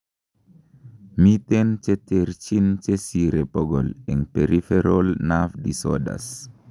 miten cheterchin chesire bokol en peripheral nerve disorders